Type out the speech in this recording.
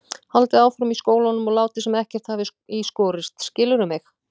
Haldið áfram í skólanum og látið sem ekkert hafi í skorist, skilurðu mig?